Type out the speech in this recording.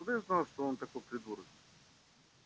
откуда я знал что он такой придурок